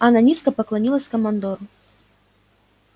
она низко поклонилась командору